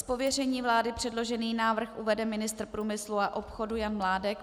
Z pověření vlády předložený návrh uvede ministr průmysl a obchodu Jan Mládek.